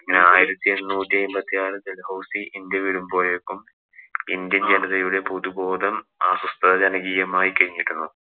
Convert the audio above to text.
ആയിരത്തി എണ്ണൂറ്റി അയ്മ്പത്തി നാലില്‍ ഡല്‍ഹൗസി ഇന്‍ഡ്യ വിടുമ്പോഴേക്കും ഇന്ത്യന്‍ ജനതയുടെ പുതുബോധം അസ്വസ്ഥജനകീയമായി കഴിഞ്ഞിരുന്നു.